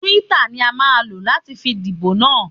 Twitter ni a máa lò láti fi díbò na.